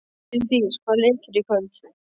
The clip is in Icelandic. Vildís, hvaða leikir eru í kvöld?